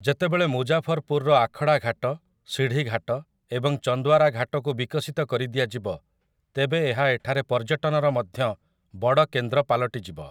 ଯେତେବେଳେ ମୁଜାଫରପୁରର ଆଖଡ଼ାଘାଟ, ସିଢ଼ିଘାଟ ଏବଂ ଚନ୍ଦୱାରା ଘାଟକୁ ବିକଶିତ କରି ଦିଆଯିବ, ତେବେ ଏହା ଏଠାରେ ପର୍ଯ୍ୟଟନର ମଧ୍ୟ ବଡ଼ କେନ୍ଦ୍ର ପାଲଟିଯିବ ।